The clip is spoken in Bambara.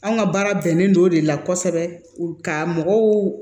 Anw ka baara bɛnnen don o de la kɔsɔbɛ ka mɔgɔw